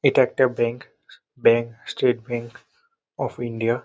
এটা একটা bank. Bank State Bank of India.